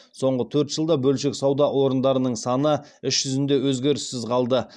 соңғы төрт жылда бөлшек сауда орындарының саны іс жүзінде өзгеріссіз қалды